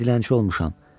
Mən dilənçi olmuşam.